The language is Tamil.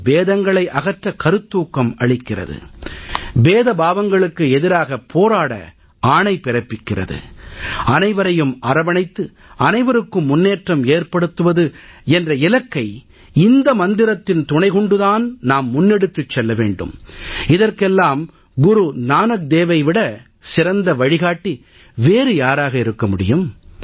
இது பேதங்களை அகற்ற கருத்தூக்கம் அளிக்கிறது பேதபாவங்களுக்கு எதிராக போராட ஆணை பிறப்பிக்கிறது அனைவரையும் அரவணைத்து அனைவருக்கும் முன்னேற்றம் ஏற்படுத்துவது என்ற இலக்கை இந்த மந்திரத்தின் துணை கொண்டு தான் நாம் முன்னெடுத்துச் செல்ல வேண்டும் இதற்கெல்லாம் குரு நானக் தேவை விடச் சிறந்த வழிகாட்டி வேறு யாராக இருக்க முடியும்